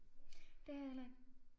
Det har jeg heller ikke